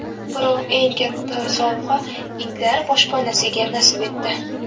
Biroq eng katta sovg‘a itlar boshpanasiga nasib etdi.